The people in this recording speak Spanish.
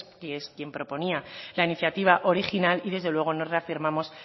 que es quien proponía la iniciativa original y desde luego nos reafirmamos